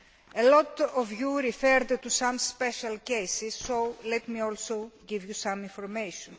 A lot of you referred to some special cases, so let me also give you some information.